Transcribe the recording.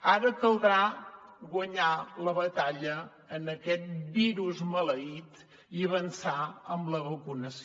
ara caldrà guanyar la batalla a aquest virus maleït i avançar en la vacunació